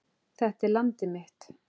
Þetta er landið mitt.